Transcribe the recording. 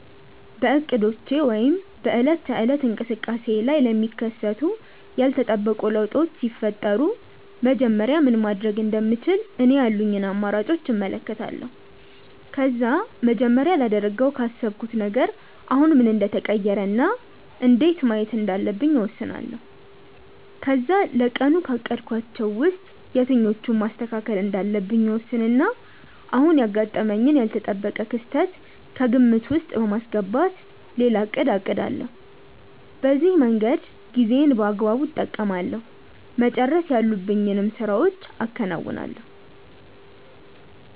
በእቅዶቼ ወይም በዕለት ተዕለት እንቅስቃሴዬ ላይ ለሚከሰቱ ያልተጠበቁ ለውጦች ሲፈጠሩ መጀመሪያ ምን ማድረግ እንደምችል እኔ ያሉኝን አማራጮች እመለከታለሁ። ከዛ መጀመሪያ ላደርገው ካሰብኩት ነገር አሁን ምን እንደተቀየረ እና እንዴት ማየት እንዳለብኝ እወስናለሁ። ከዛ ለቀኑ ካቀድኳቸው ውስጥ የትኞቹን ማስተካከል እንዳለብኝ እወስንና አሁን ያጋጠመኝን ያልተጠበቀ ክስተት ከግምት ውስጥ በማስገባት ሌላ እቅድ አቅዳለሁ። በዚህ መንገድ ጊዜዬን በአግባቡ እጠቀማለሁ፤ መጨረስ ያሉብኝን ስራዎችም አከናውናለሁ።